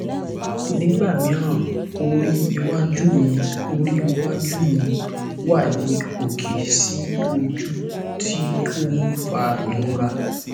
nígbà mìíràn orí iwájú mi orí iwájú mi wà ní òkè sí ojú tí ó ń fa ìrora